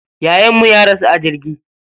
Yayan mu ya rasu a jirgi.